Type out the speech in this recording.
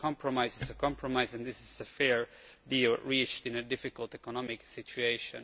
A compromise is a compromise and this is a fair deal reached in a difficult economic situation.